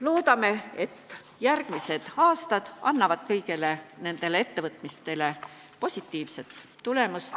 Loodame, et järgmistel aastatel on kõigil nendel ettevõtmistel positiivne tulemus.